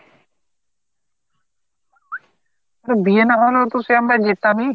এখন বিয়ে না হলেও তো আমরা সেই যেতামই